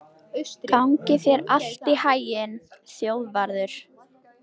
Gangi þér allt í haginn, Þjóðvarður.